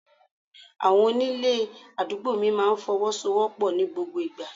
Àwọn onílé àdúgbò mi máa ń fọwọ́sowopo ní gbogbo ìgbà.